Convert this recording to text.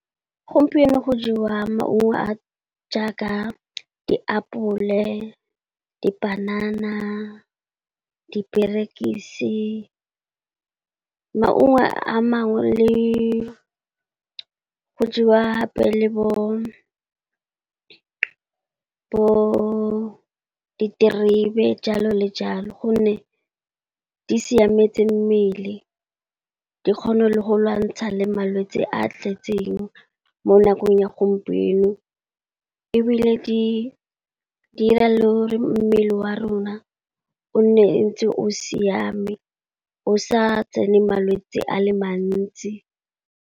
Gompieno go jewa maungo a jaaka diapole, dipanana, diperekisi. Maungo a mangwe le go jewa gape le bo diterebe jalo le jalo. Gonne di siametse mmele di kgona le go lwantsha le malwetse a a tletseng mo nakong ya gompieno. Ebile di dira le mmele wa rona o nne ntse o siame, o sa tsene malwetsi a le mantsi.